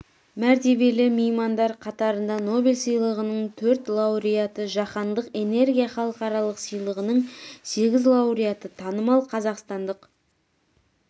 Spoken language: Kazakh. мәртебелі меймандар қатарында нобель сыйлығының төрт лауреаты жаһандық энергия халықаралық сыйлығының сегіз лауреаты танымал қазақстандық